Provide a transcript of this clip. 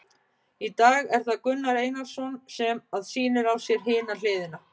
Í dag er það Gunnar Einarsson sem að sýnir á sér hina hliðina.